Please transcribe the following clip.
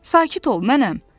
Sakit ol, mənəm!